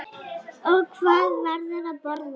Og hvað verður að borða?